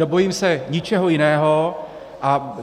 Nebojím se ničeho jiného a